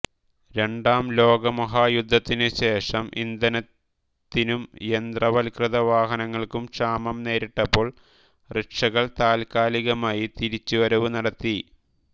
രണ്ടാം ലോകമഹായുദ്ധത്തിനു ശേഷം ഇന്ധനത്തിനും യന്ത്രവൽകൃത വാഹനങ്ങൾക്കും ക്ഷാമം നേരിട്ടപ്പോൾ റിക്ഷകൾ താത്കാലികമായി തിരിച്ചു വരവു നടത്തി